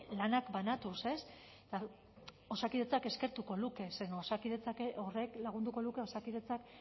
lanak banatuz ez osakidetzak eskertuko luke zeren osakidetza horrek lagunduko luke osakidetzak